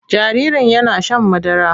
Jaririn yana shan madara.